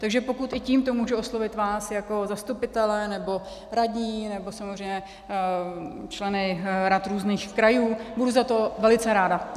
Takže pokud i tímto můžu oslovit vás jako zastupitele nebo radní nebo samozřejmě členy rad různých krajů, budu za to velice ráda.